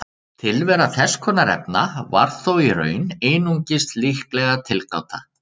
Tilvera þess konar efna var þó í raun einungis líkleg tilgáta.